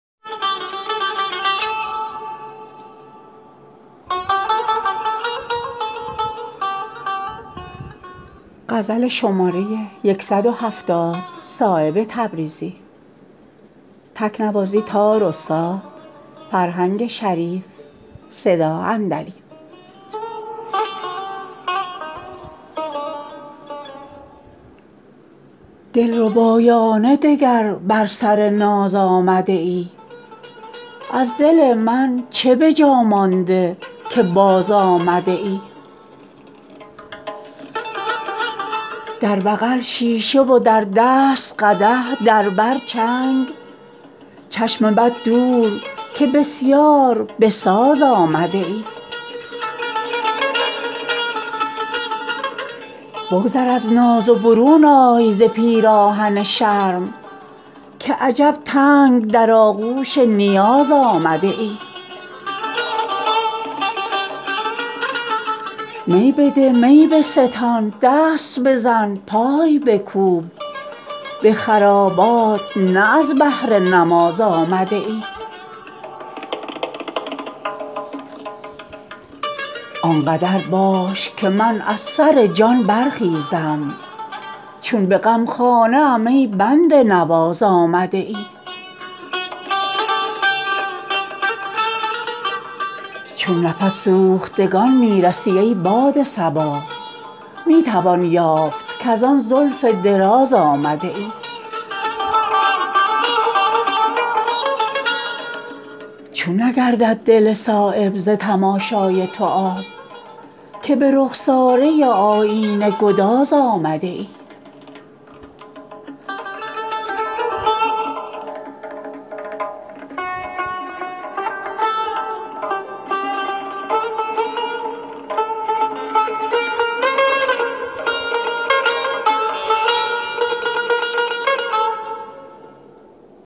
دلربایانه دگر بر سر ناز آمده ای از دل من چه به جا مانده که باز آمده ای از عرق زلف تو چون رشته گوهر شده است همه جا گرچه به تمکین و به ناز آمده ای در بغل شیشه و در دست قدح در بر چنگ چشم بد دور که بسیار بساز آمده ای بگذر از ناز و برون آی ز پیراهن شرم که عجب تنگ در آغوش نیاز آمده ای می بده می بستان دست بزن پای بکوب به خرابات نه از بهر نماز آمده ای آنقدر باش که من از سر جان برخیزم چون به غمخانه ام ای بنده نواز آمده ای بر دل سوخته ام رحم کن ای ماه تمام که درین بوته مکرر به گداز آمده ای دل محراب ز قندیل فرو ریخته است تا تو ای دشمن ایمان به نماز آمده ای چون نفس سوختگان می رسی ای باد صبا می توان یافت کزان زلف دراز آمده ای چون نگردد دل صایب ز تماشای تو آب که به رخساره آیینه گداز آمده ای نیست ممکن که مصور شود آن حسن لطیف صایب از دل چه عبث آینه ساز آمده ای